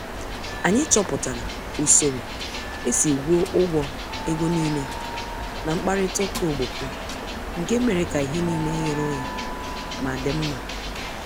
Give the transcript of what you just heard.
Anyị chọpụtara usoro esi gwuo ụgwọ ego nile n' mkparita ụka ogboko nke mere ka ihe nile ghere oghe ma dị mma.